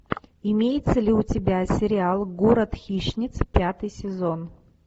имеется ли у тебя сериал город хищниц пятый сезон